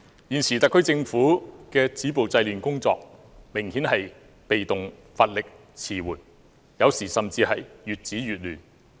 現時特區政府止暴制亂的工作，明顯是被動、乏力、遲緩，有時候甚至是越止越亂。